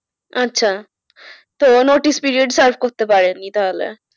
আচ্ছা তো notice period serve করতে পারেনি তাহলে।